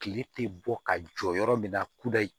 Kile tɛ bɔ ka jɔ yɔrɔ min na kudayi